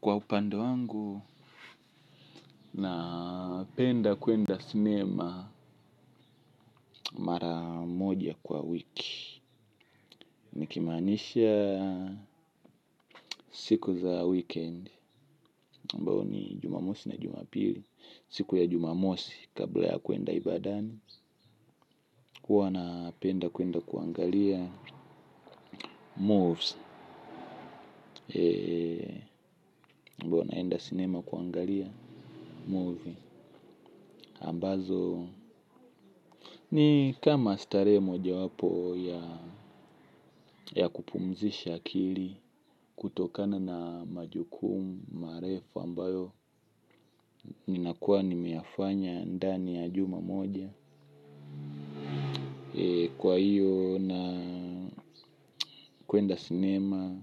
Kwa upande wangu, napenda kuenda sinema mara moja kwa wiki. Nikimaanisha siku za weekend, ambao ni jumamosi na jumapili. Siku ya jumamosi kabla ya kuenda ibadani huwa napenda kuenda kuangalia, moves ambao naenda sinema kuangalia, movies ambazo ni kama starehe mojawapo ya ya kupumzisha akili. Kutokana na majukumu, marefu ambayo ninakuwa nimeyafanya ndani ya juma moja. Kwa hiyo na kuenda sinema